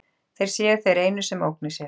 Þeir séu þeir einu sem ógni sér.